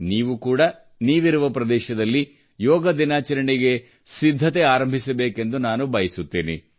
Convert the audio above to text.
ನೀವು ಕೂಡಾ ನೀವಿರುವ ಪ್ರದೇಶದಲ್ಲಿ ಯೋಗ ದಿನಾಚರಣೆಗೆ ಸಿದ್ಧತೆ ಆರಂಭಿಸಬೇಕೆಂದು ನಾನು ಬಯಸುತ್ತೇನೆ